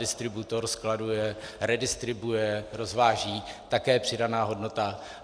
Distributor skladuje, redistribuuje, rozváží - také přidaná hodnota.